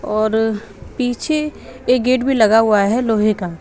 और पीछे एक गेट भी लगा हुआ है लोहे का।